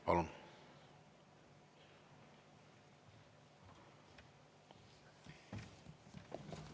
Palun!